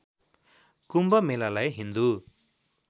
कुम्भ मेलालाई हिन्दु